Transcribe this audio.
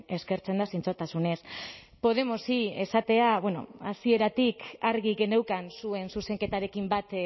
eskertzen da zintzotasunez podemosi esatea bueno hasieratik argi geneukan zuen zuzenketarekin